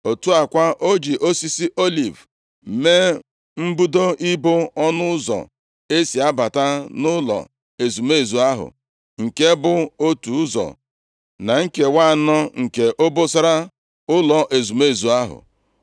Otu a kwa, o ji osisi oliv mee mbudo ibo ọnụ ụzọ e si abata nʼụlọ ezumezu ahụ, nke bụ otu ụzọ na nkewa anọ nke obosara ụlọ ezumezu ahụ.